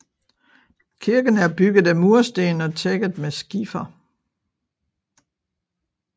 Kirken er bygget af mursten og tækket med skifer